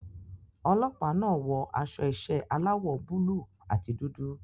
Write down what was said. Ọlọ́pàá náà wọ aṣọ iṣẹ́ aláwọ̀ búlùù àti dúdú.